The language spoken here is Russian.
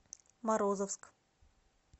морозовск